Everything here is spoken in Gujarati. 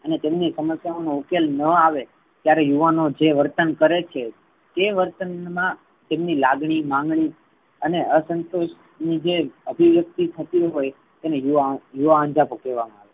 અને તેમની સમસ્યાઓ નો ઉકેલ ન આવે ત્યારે યુવાનો જે વર્તન કરે છે. તે વર્તન મા તેમની લાગણી માંગણી અને અસંતોષ ની જે અભીવ્યક્તિ થતી હોય એને યુવા અંજપો કહેવામા આવે છે.